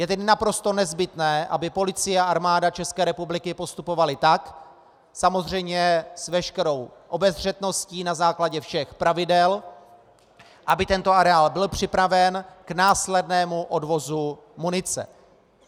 Je tedy naprosto nezbytné, aby Policie a Armáda České republiky postupovaly tak, samozřejmě s veškerou obezřetností, na základě všech pravidel, aby tento areál byl připraven k následnému odvozu munice.